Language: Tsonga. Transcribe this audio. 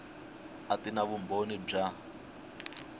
a ti na vumbhoni bya